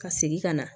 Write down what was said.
Ka segin ka na